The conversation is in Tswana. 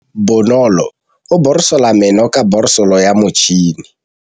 Bonolô o borosola meno ka borosolo ya motšhine.